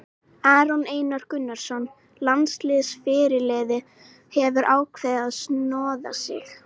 Aron Einar Gunnarsson, landsliðsfyrirliði, hefur ákveðið að snoða sig.